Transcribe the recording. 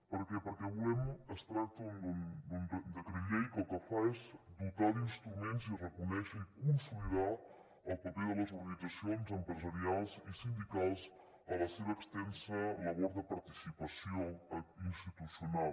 per què perquè es tracta d’un decret llei que el que fa és dotar d’instruments i reconèixer i consolidar el paper de les organitzacions empresarials i sindicals a la seva extensa labor de participació institucional